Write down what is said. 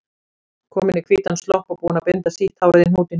Komin í hvítan slopp og búin að binda sítt hárið í hnút í hnakkanum.